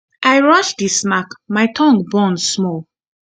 i rush eat the snack my tongue burn small